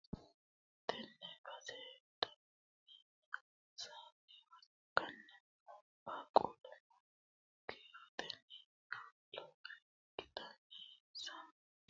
Tenne base daimi hosannowa ikkanna, qaaqqulluno kiirotenni lowore ikkitanna, insa towaanyo assitara daggino mannootino uurrite la'anni afantannoha ikkanna, insa giddoonnino waajjo gowaane uddidhinorino afantanno.